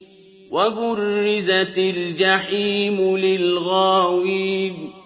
وَبُرِّزَتِ الْجَحِيمُ لِلْغَاوِينَ